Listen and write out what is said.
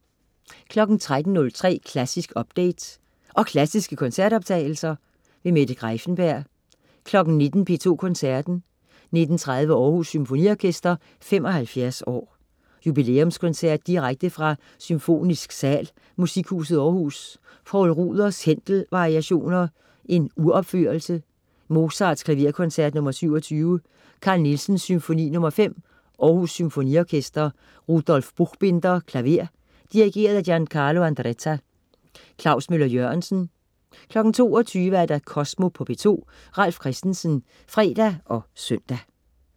13.03 Klassisk update. Og klassiske koncertoptagelser. Mette Greiffenberg 19.00 P2 Koncerten. 19.30 Aarhus Symfoniorkester 75 år. Jubilæumskoncert direkte fra Symfonisk Sal, Musikhuset Aarhus. Poul Ruders: Händel variationer, uropf. Mozart: Klaverkoncert nr. 27. Carl Nielsen: Symfoni nr. 5. Aarhus Symfoniorkester. Rudolf Buchbinder, klaver. Dirigent: Giancarlo Andretta. Klaus Møller-Jørgensen 22.00 Kosmo på P2. Ralf Christensen (fre og søn)